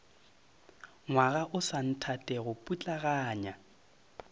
ngwaga o sa nthatego putlaganya